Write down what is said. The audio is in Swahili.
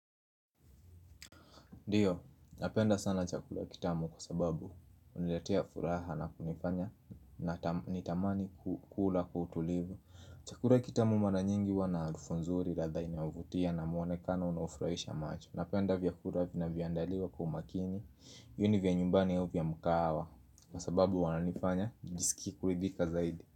Ndiyo, napenda sana chakula kitamu kwa sababu huniletea furaha na kunifanya na nitamani kula kwa utulivu. Chakula kitamu mara nyingi huwa na harufu nzuri ladha inayovutia na muonekano unafurahisha macho. Napenda vyakula vinavyoandaliwa kwa umakini viwe ni vya nyumbani ya vya mkahawa kwa sababu wananifanya nijisikie kuridhika zaidi.